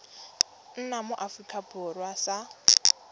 nna mo aforika borwa sa